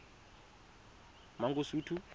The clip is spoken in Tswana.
mangosuthu